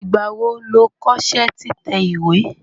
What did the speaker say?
Ìgbà wo lo kọ́ṣẹ́ títẹ̀ ìwé?